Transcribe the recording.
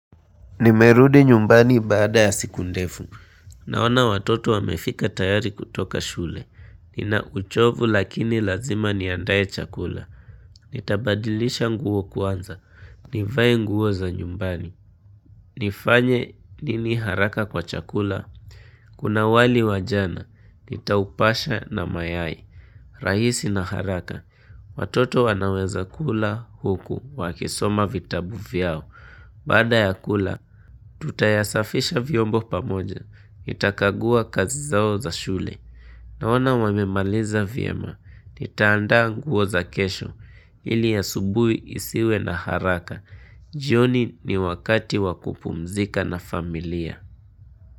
Nimerudi nyumbani bada ya siku ndefu. Naona watoto wamefika tayari kutoka shule. Nina uchovu lakini lazima niandae chakula. Nitabadilisha nguo kuanza. Nivaye nguo za nyumbani. Nifanye nini haraka kwa chakula. Kuna wali wajana. Nitaupasha na mayai. Rahisi na haraka. Watoto wanaweza kula huku. Wakisoma vitabu vyao. Baada ya kula, tutayasafisha vyombo pamoja, itakagua kazi zao za shule, na wana wamemaliza vyema, nitaanda nguo za kesho, ili ya subui isiwe na haraka, jioni ni wakati wakupumzika na familia.